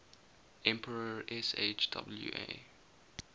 emperor sh wa